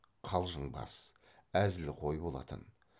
қалжыңбас әзілқой болатын